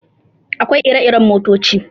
Akwai iri irin motoci.